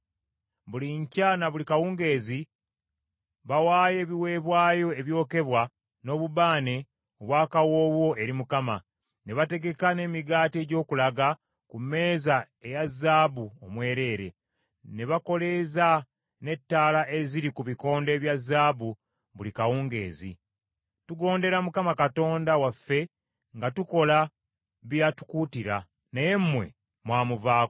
Buli nkya na buli kawungeezi bawaayo ebiweebwayo ebyokebwa n’obubaane obwa kawoowo eri Mukama , ne bategeka n’emigaati egy’okulaga ku mmeeza eya zaabu omwereere, ne bakoleeza n’ettaala eziri ku bikondo ebya zaabu buli kawungeezi. Tugondera Mukama Katonda waffe nga tukola bye yatukuutira, naye mmwe mwamuvaako.